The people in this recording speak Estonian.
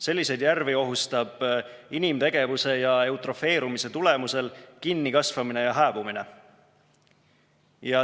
Selliseid järvi ohustab inimtegevuse ja eutrofeerumise tulemusel kinnikasvamine ja hääbumine.